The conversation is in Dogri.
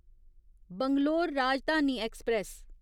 बैंगलोर राजधानी एक्सप्रेस